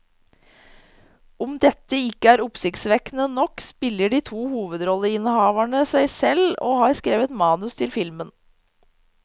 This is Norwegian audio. Om dette ikke er oppsiktsvekkende nok, spiller de to hovedrolleinnehaverne seg selv og har skrevet manus til filmen.